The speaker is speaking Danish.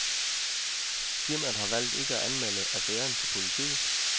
Firmaet har valgt ikke at anmelde affæren til politiet.